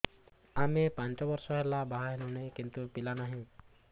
ଆମେ ପାଞ୍ଚ ବର୍ଷ ହେଲା ବାହା ହେଲୁଣି କିନ୍ତୁ ପିଲା ନାହିଁ